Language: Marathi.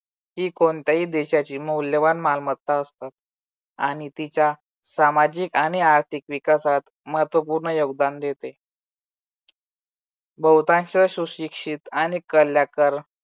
ही कोणत्याही देशाची मौल्यवान मालमत्ता असतात. आणि तिच्या सामाजिक आणि आर्थिक विकासात महत्त्वपूर्ण योगदान देते. बहुतांश सुशिक्षित आणि कलाकार